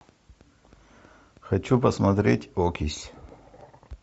хочу посмотреть окись